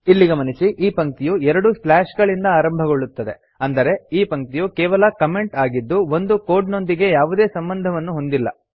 ಇಲ್ಲಿ ಗಮನಿಸಿ ಈ ಪಂಕ್ತಿಯು ಎರಡು ಸ್ಲಾಶ್ ಗಳಿಂದ ಆರಂಭಗೊಳ್ಳುತ್ತದೆ ಅಂದರೆ ಈ ಪಂಕ್ತಿಯು ಕೇವಲ ಕಮೆಂಟ್ ಆಗಿದ್ದು ಇದು ಕೋಡ್ ನೊಂದಿಗೆ ಯಾವುದೇ ಸಂಬಂಧವನ್ನು ಹೊಂದಿಲ್ಲ